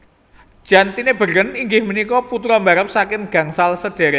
Jan Tinbergen inggih punika putra mbarep saking gangsal sadhérék